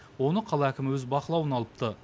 оны қала әкімі өз бақылауына алыпты